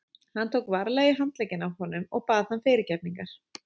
Hann tók varlega í handlegginn á honum og bað hann fyrirgefningar.